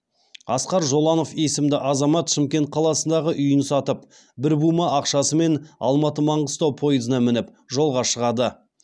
асқар жолананов есімді азамат шымкент қаласындағы үйін сатып бір бума ақшасымен алматы маңғыстау пойызына мініп жолға шығады